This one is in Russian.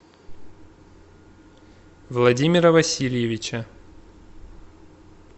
владимира васильевича